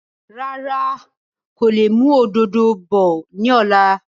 Rárá, ń kò lè mú òdòdó bọ̀ ni ọ̀la